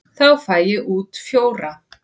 Þá fæ ég út fjóra.